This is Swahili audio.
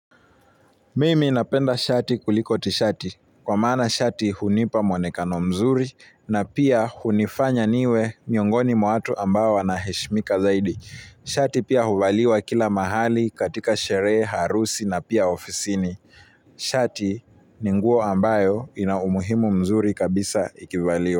Mimi ninapenda shati kuliko tishati, kwa maana shati hunipa muonekano mzuri na pia hunifanya niwemiongoni mwa watu ambao wanaheshimika zaidi. Shati pia huvaliwa kila mahali katika sherehe, harusi na pia ofisini. Shati ni nguo ambayo inaumuhimu mzuri kabisa ikivaliwa.